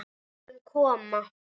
Við skulum koma!